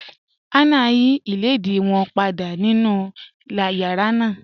Hannah ń yí ilẹ̀dìí wọn pàdà nínu yàrá náà.